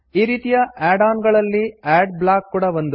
ಈ ರೀತೀಯ ಆಡ್ಆನ್ ಗಳಲ್ಲಿ ಆಡ್ ಬ್ಲಾಕ್ ಕೂಡಾ ಒಂದು